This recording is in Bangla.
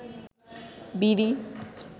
বিড়ি